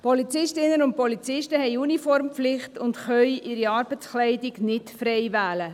Polizistinnen und Polizisten haben eine Uniformpflicht und können ihre Arbeitskleidung nicht frei wählen.